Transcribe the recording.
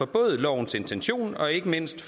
både lovens intention og ikke mindst